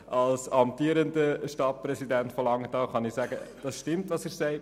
Als amtierender Stadtpräsident von Langenthal kann ich sagen, dass stimmt, was er sagt.